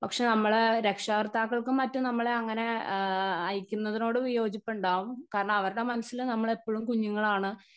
Speaker 1 പക്ഷെ നമ്മള് രക്ഷാകർത്താക്കൾക്കും മറ്റും നമ്മളെ അങ്ങനെ ആ അയക്കുന്നതിനോട് വിയോജിപ്പുണ്ടാവും കാരണം അവരുടെ മനസ്സിൽ നമ്മളെപ്പഴും കുഞ്ഞുങ്ങളാണ്.